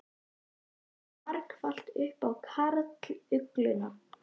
Málið kom víst marflatt upp á karlugluna.